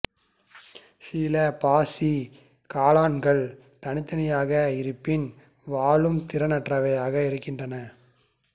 சில பாசி காளான்கள் தனித்தனியாக இருப்பின் வாழும் திறனற்றவையாக இருக்கின்றன